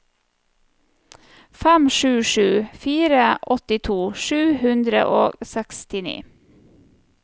fem sju sju fire åttito sju hundre og sekstini